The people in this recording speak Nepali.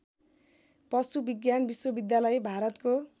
पशुविज्ञान विश्वविद्यालय भारतको